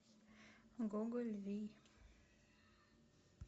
гоголь вий